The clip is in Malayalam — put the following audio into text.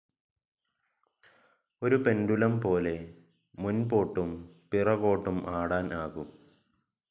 ഒരു പെണ്ടുലും പോലെ മുൻപൊട്ടും പിറകോട്ടും ആടാൻ ആകും.